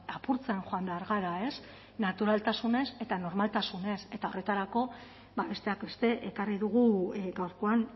apurtzen joan behar gara ez naturaltasunez eta normaltasunez eta horretarako besteak beste ekarri dugu gaurkoan